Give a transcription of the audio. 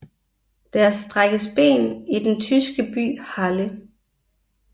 Der strækkes ben i den tyske by Halle